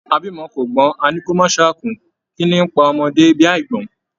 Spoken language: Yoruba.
A bímọ kò gbọn, a ní kò má ṣáà kú, kínní n pa ọmọdé bí àígbọ́n.